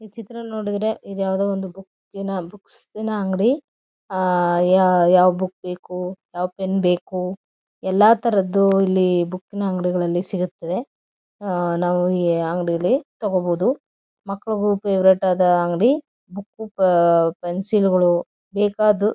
ಈ ಚಿತ್ರವನ್ನು ನೋಡಿದ್ರೆ ಇದು ಯಾವುದೊ ಒಂದು ಬುಕ್ ನ ಬುಕ್ಸ್ ನ ಅಂಗಡಿ ಯಾ ಯಾವ ಬುಕ್ ಬೇಕು ಯಾವ ಪೆಣ್ ಬೇಕು ಎಲ್ಲ ತರದ್ದು ಇಲ್ಲಿ ಬುಕ್ ನ ಅಂಗಡಿಗಳಲ್ಲಿ ಸಿಗುತ್ತೆ ಆ ನಾವು ಈ ಅಂಗಡಿಲಿ ತಗೋಬಹುದು ಮಕ್ಕಳಿಗೂ ಫ್ಯಾವರೆಟ್ ಅದ ಅಂಗಡಿ ಬುಕ್ ಪೆನ್ಸಿಲ್ ಗಳು ಬೇಕಾದ್ದು ಸಿಗುತ್ತೆ.